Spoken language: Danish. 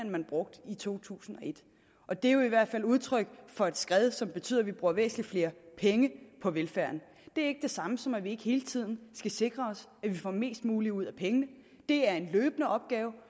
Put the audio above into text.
man brugte i to tusind og et og det er jo i hvert fald et udtryk for et skred som betyder at vi bruger væsentlig flere penge på velfærden det er ikke det samme som at vi ikke hele tiden skal sikre os at vi får mest muligt ud af pengene det er en løbende opgave